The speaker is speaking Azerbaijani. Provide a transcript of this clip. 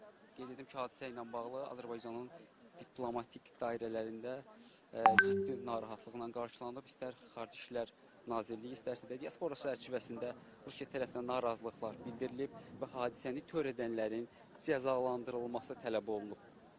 Qeyd edim ki, hadisə ilə bağlı Azərbaycanın diplomatik dairələrində ciddi narahatlıqla qarşılanıb, istər Xarici İşlər Nazirliyi, istərsə də diaspor çərçivəsində Rusiya tərəfindən narazılıqlar bildirilib və hadisəni törədənlərin cəzalandırılması tələb olunub.